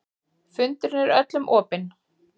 Fundurinn er öllum opinn